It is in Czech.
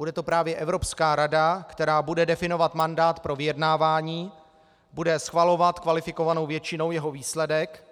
Bude to právě Evropská rada, která bude definovat mandát pro vyjednávání, bude schvalovat kvalifikovanou většinou jeho výsledek